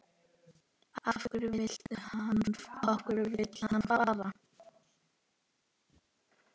Af hverju vill hann fara?